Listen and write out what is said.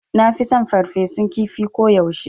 Nafi son ferfesun kifi ko yaushe